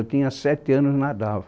Eu tinha sete anos e nadava.